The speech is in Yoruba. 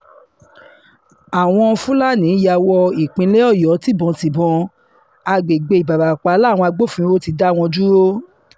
àwọn fúlàní yà wọ ìpínlẹ̀ ọ̀yọ́ tìbọ́ǹtìbọ̀n àgbègbè ìbarapá làwọn agbófinró ti dá wọn dúró